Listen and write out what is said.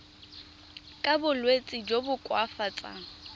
ka bolwetsi jo bo koafatsang